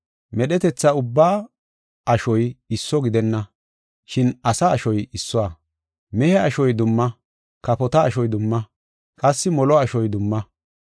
Medhetetha ubbaa ashoy isso gidenna. Shin asa ashoy issuwa; mehe ashoy dumma; kafota ashoy dumma; qassi molo ashoy dumma.